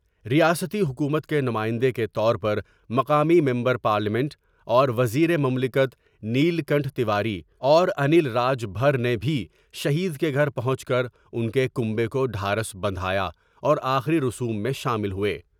ریاستی حکومت کے نمائندے کے طور پر مقامی ممبر پارلیمنٹ اور وزیر مملکت نیل کنٹھ تیواری اور انل راج بھر نے بھی شہید کے گھر پہونچ کر ان کے کنبے کو ڈھارس بندھا یا اور آخری رسوم میں شامل ہوئے ۔